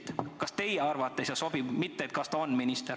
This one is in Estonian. Ma küsin seda, kas ta teie arvates sobib, mitte seda, kas ta on minister.